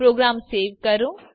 programme save કરો